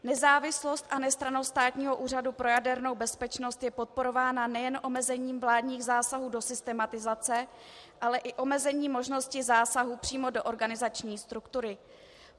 Nezávislost a nestrannost Státního úřadu pro jadernou bezpečnost je podporována nejen omezením vládních zásahů do systematizace, ale i omezením možnosti zásahu přímo do organizační struktury.